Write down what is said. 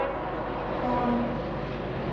плано